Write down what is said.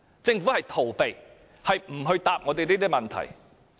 政府逃避回答我們這些問題。